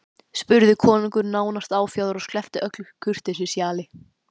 spurði konungur nánast áfjáður og sleppti öllu kurteisishjali.